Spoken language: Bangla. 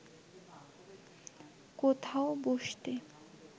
কোথাও বসতে